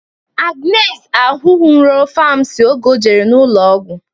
Agnes ahụnwuro famasisti oge o jere ụlọ ọgwụ